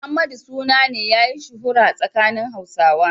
Muhammadu suna ne yayi shuhura tsakanin Hausawa.